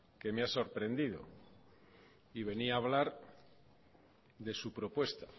que me ha sorprendido y venía a hablar de su propuesta